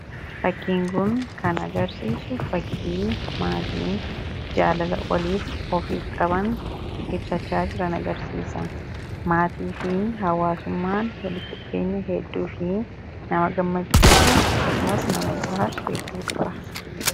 Fakkiin kuun kan agarsiisu fakkii maatiin jaalala waliif ofiif qaban ibsachaa jiran agarsiisa maatii fi hawaasummaan walitti dhufeenya hedduu fi nama gammachiisu akkasumas nama boharasu hedduu qaba.